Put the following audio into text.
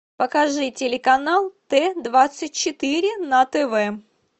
покажи телеканал т двадцать четыре на тв